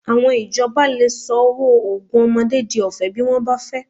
Àwọn ìjọba lè sọ owó oògùn ọmọdé di ọ̀fẹ́ bí wọ́n bá fẹ́